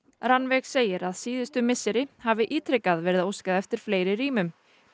Rannveig segir að síðustu misseri hafi ítrekað verið óskað eftir fleiri rýmum